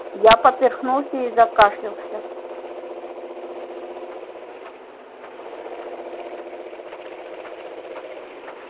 я поперхнулся и закашлялся